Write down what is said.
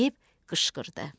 Deyib qışqırdı.